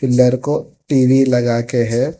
Pillar को TV लगाके है।